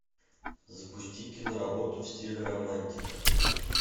запусти киноработу в стиле романтика